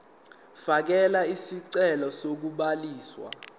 fakela isicelo sokubhaliswa